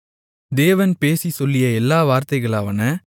தேவன் பேசிச் சொல்லிய எல்லா வார்த்தைகளாவன